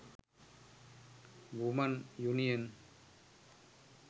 women union